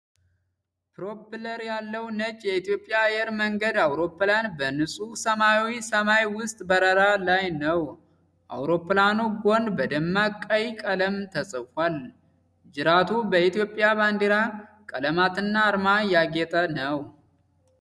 ፕሮፐለር ያለው ነጭ የኢትዮጵያ አየር መንገድ አውሮፕላን በንጹሕ ሰማያዊ ሰማይ ውስጥ በረራ ላይ ነው። የአውሮፕላኑ ጎን በደማቅ ቀይ ቀለም ተጽፏል። ጅራቱ በኢትዮጵያ ባንዲራ ቀለማትና አርማ ያጌጠ ነው።